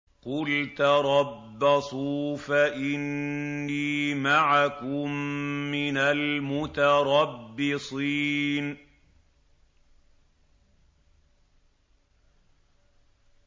قُلْ تَرَبَّصُوا فَإِنِّي مَعَكُم مِّنَ الْمُتَرَبِّصِينَ